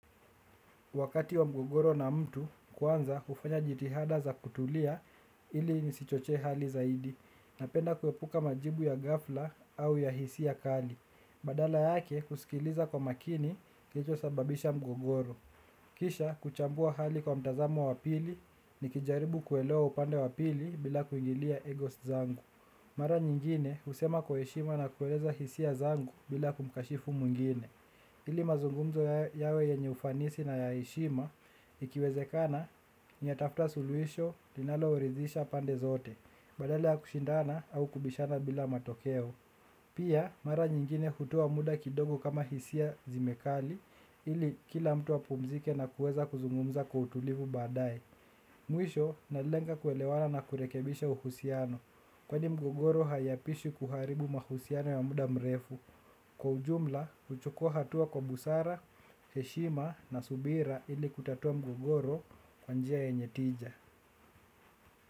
Wakati wa mgogoro na mtu kwanza hufanya jitihada za kutulia ili nisichochee hali zaidi napenda kuepuka majibu ya ghafla au ya hisia kali. Badala yake kusikiliza kwa makini kilichosababisha mgogoro. Kisha kuchambua hali kwa mtazamo wa pili nikijaribu kuelewa upande wa pili bila kuingilia egos zangu. Mara nyingine husema kwa heshima na kueleza hisia zangu bila kumkashifu mwingine. Ili mazungumzo yawe yenye ufanisi na ya heshima, ikiwezekana, natafuta suluhisho, linaloridhisha pande zote, badala ya kushindana au kubishana bila matokeo. Pia, mara nyingine kutoa muda kidogo kama hisia zimekali, ili kila mtu apumzike na kuweza kuzungumza kwa utulivu baadae. Mwisho, nalenga kuelewana na kurekebisha uhusiano, kwani mgogoro haiapaswi kuharibu mahusiano ya muda mrefu. Kwa ujumla, huchukua hatua kwa busara, heshima na subira ili kutatua mgogoro kwa njia yenye tija.